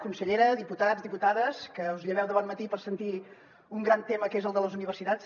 consellera diputats diputades que us lleveu de bon matí per sentir un gran tema que és el de les universitats